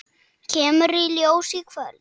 Kemur í ljós í kvöld.